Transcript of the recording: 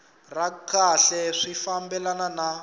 ra kahle swi fambelana na